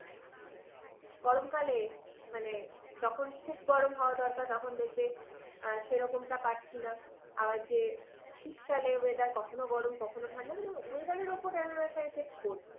গরমকালে, মানে যখন খুব গরম হওয়া দরকার তখন দেখবে সেরকমটা পাচ্ছি না। আবার যে শীতকালে weather কখনো গরম কখনো ঠান্ডা। মানে weather এর ওপর এমন একটা effect পরছে।